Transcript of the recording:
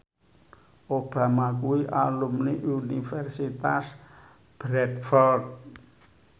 Obama kuwi alumni Universitas Bradford